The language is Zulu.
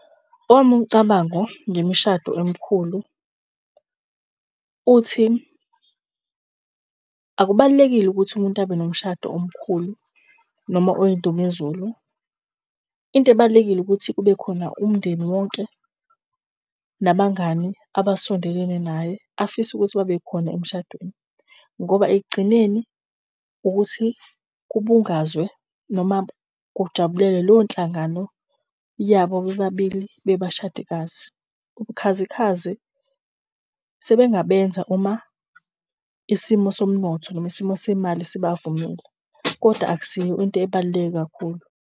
Owami umcabango ngemishado emkhulu, uthi akubalulekile ukuthi umuntu abe nomshado omkhulu noma oyindumezulu. Into ebalulekile ukuthi kubekhona umndeni wonke, nabangani abasondelene naye afise ukuthi babekhona emshadweni ngoba ekugcineni ukuthi kubungazwa noma kujabulelwe leyo nhlangano yabo bebabili bebashadikazi. Ubukhazi khazi sebengabenza uma isimo somnotho noma isimo semali sibavumile, kodwa akusiyo into ebaluleke kakhulu.